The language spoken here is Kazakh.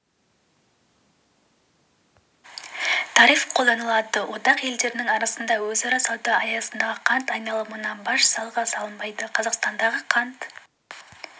тариф қолданылады одақ елдерінің арасындағы өзара сауда аясындағы қант айналымына баж салығы салынбайды қазақстандағы қант